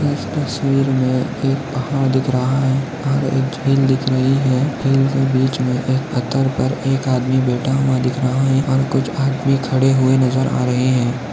इस तस्वीर मे एक धबधबा दिख रहा है और एक दिख रही है झील के बीच मे एक पत्तर पर एक आदमी बैठा हुआ दिख रहा है कुछ आदमी खड़े हुए नजर हा रहे है।